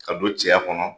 Ka don cɛya kɔnɔ